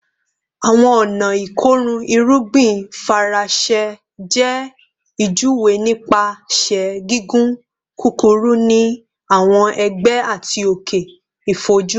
Awọn ọna ikorun irugbin Faranse jẹ ijuwe nipasẹ gigun kukuru ni awọn ẹgbẹ ati oke ifojuri